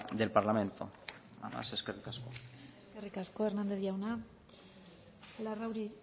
del parlamento nada más eskerrik asko eskerrik asko hernandez jauna larrauri